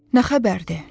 Nə xəbərdi?